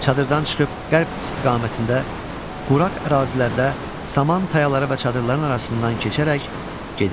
Çadırdan çıxıb qərb istiqamətində quraq ərazilərdə saman tayaları və çadırların arasından keçərək gedirdi.